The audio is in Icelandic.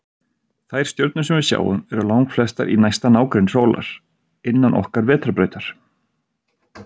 Þær stjörnur sem við sjáum eru langflestar í næsta nágrenni sólar, innan okkar vetrarbrautar.